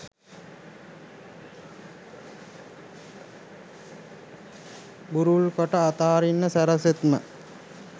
බුරුල් කොට අතහරින්ට සැරසෙත්ම